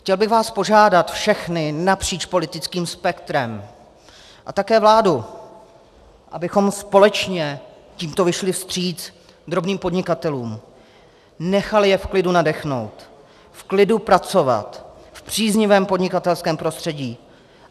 Chtěl bych vás požádat všechny napříč politickým spektrem a také vládu, abychom společně tímto vyšli vstříc drobným podnikatelům, nechali je v klidu nadechnout, v klidu pracovat v příznivém podnikatelském prostředí.